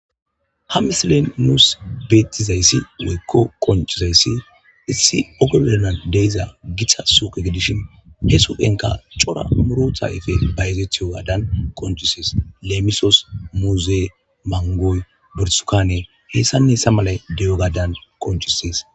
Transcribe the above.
ha mislen nuus beettizayssi woykko qoncizayssi issi ogoblanan deiza githa suke gidishin he supenka cora murota efe bayzethiyo gaadan qoncisees leemisos muuzee mangoy bersukane heessanne ssa malay de7o gadan qoncisees